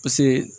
Paseke